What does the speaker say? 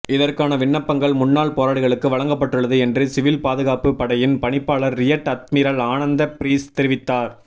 இதற்கான விண்ணப்பங்கள் முன்னாள் போராளிகளுக்கு வழங்கப்பட்டுள்ளது என்று சிவில் பாதுகாப்பு படையின் பணிப்பாளர் ரியட் அத்மிரல் ஆனந்த பீரிஸ் தெரிவித்தார்